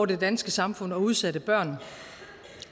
det danske samfund og udsatte børn